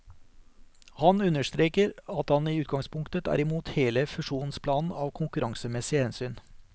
Han understreker at han i utgangspunktet er imot hele fusjonsplanen av konkurransemessige hensyn.